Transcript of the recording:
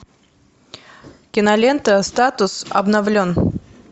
кинолента статус обновлен